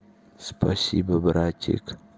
спасибо братик